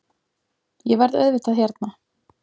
Ég verð auðvitað hérna